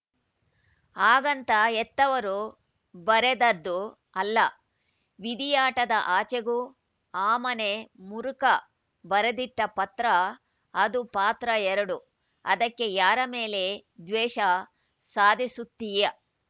ಹಾಗಂತ ಹೆತ್ತವರು ಬರೆದದ್ದು ಅಲ್ಲ ವಿದಿಯಾಟದ ಆಚೆಗೂ ಆ ಮನೆ ಮುರುಕ ಬರೆದಿಟ್ಟಪತ್ರ ಅದು ಪಾತ್ರ ಎರಡು ಅದಕ್ಕೆ ಯಾರ ಮೇಲೆ ದ್ವೇಷ ಸಾದಿಸುತ್ತಿಯಾ